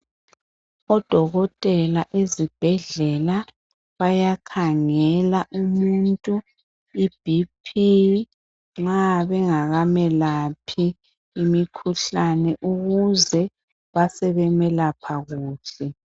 Odokotela ezibhedlela bayakhangela umuntu iBP nxa bengakamelaphi imikhuhlane ukuze basebemelapha kuhle.